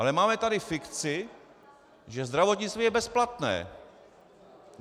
Ale máme tady fikci, že zdravotnictví je bezplatné.